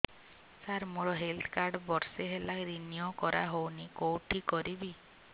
ସାର ମୋର health card ବର୍ଷେ ହେଲା ରିନିଓ କରା ହଉନି କଉଠି କରିବି